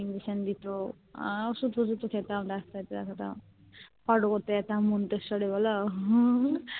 Injection দিতো আহ ওষুধ তোশুদ তো খেতাম রাত্রে এটা সেটা Photo করতে যেতাম এ বলো